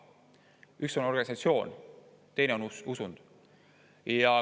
Üks on organisatsioon, teine on usund.